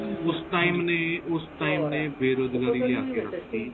ਉਸ time ਨੇ ਉਸ time ਨੇ ਬੇਰੋਜਗਾਰੀ ਲਿਆਕੇ ਰੱਖਤੀ